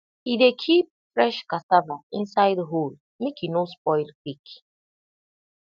he dey keep fresh cassava inside hole make e no spoil quick